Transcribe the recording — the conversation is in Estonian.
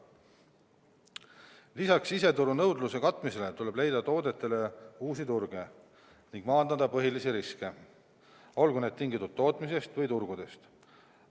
Lisaks siseturu nõudluse katmisele tuleb leida toodetele uusi turge ning maandada põhilisi riske, olgu need tingitud tootmisest või turgudest.